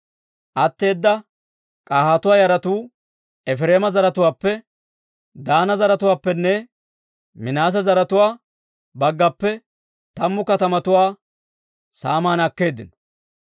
Atteeda K'ahaatuwaa yaratuu Efireema zaratuwaappe, Daana zaratuwaappenne Minaase zaratuwaa baggappe tammu katamatuwaa saaman akkeeddino.